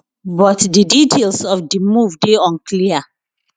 but di details of di move dey unclear